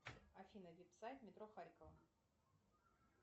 афина веб сайт метро харьково